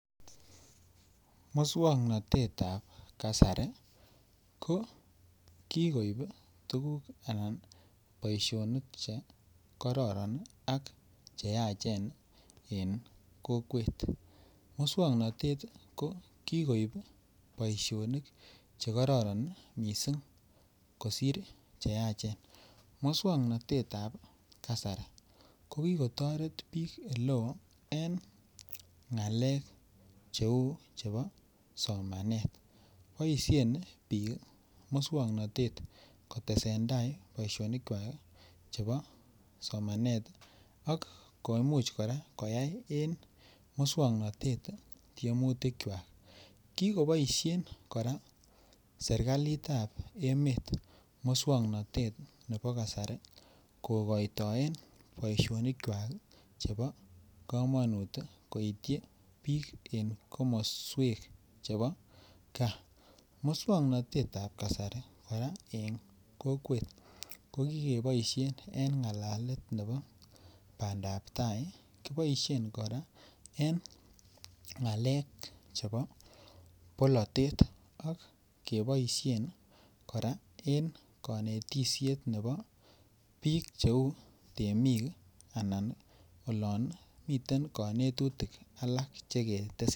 Moswoknatetab ab kasari ko ki koib tuguk anan boisionik Che kororon ak cheyachen en kokwet muswoknotet ko ki koib boisionik Che kororon mising kosir cheyachen moswoknatetab kasari ko ki kotoret bik Oleo en ngalek cheu chebo somanet boisien bik moswoknatet kotesentai boisionikwak chebo somanet ak komuch kora koyaen moswoknatet tiemutikwak ki koboisien kora serkalit ab emet moswoknatet nebo kasari kokoitoen boisionikwak chebo komonut koityi bik en komoswek chebo gaa moswoknatetab kasari kora en kokwet ko ki keboisien en ngalalet nebo bandap tai kiboi kora en ngalek chebo bolatet ak keboisien kora en konetisiet nebo bik cheu temik anan olon miten konetutik alak Che ketesentai